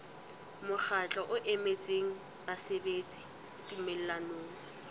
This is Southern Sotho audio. mokgatlo o emetseng basebeletsi tumellanong